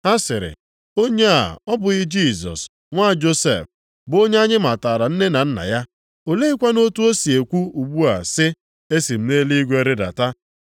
Ha sịrị, “Onye a ọ bụghị Jisọs, nwa Josef, bụ onye anyị matara nne na nna ya? Oleekwanụ otu o si ekwu ugbu a sị, ‘Esi m nʼeluigwe rịdata’?”